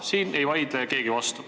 Sellele ei vaidle keegi vastu.